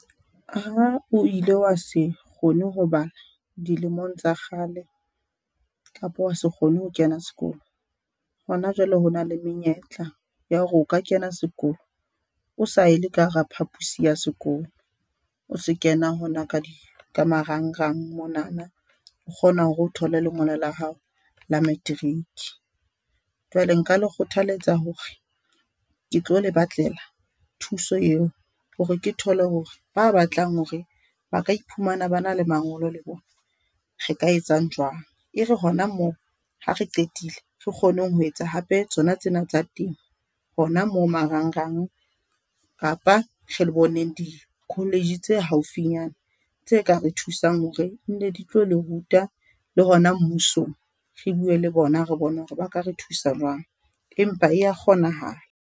Ha o ile wa se kgone ho bala dilemong tsa kgale kapa wa se kgone ho kena sekolo hona jwale, ho na le menyetla ya hore o ka kena sekolo o sa ye le ka hara phaposi ya sekolo, o se kena hona ka di ka marangrang mona. O kgona hore o thole lengolo la hao la matric. Jwale nka le kgothaletsa hore ke tlo le batlela thuso eo hore ke thole hore ba batlang hore ba ka iphumana ba na le mangolo le bona. Re ka etsang jwang e re hona moo, ha re qetile re kgoneng ho etsa hape tsona tsena tsa temo. Hona moo marangrang kapa re le boneng di-college tse haufinyane, tse ka re thusang hore ne di tlo le ruta le hona mmusong re bue le bona, re bone hore ba ka re thusa jwang, empa e ya kgonahala.